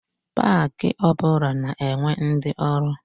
Pak ọ bụla na-enwe ndi ọrụ.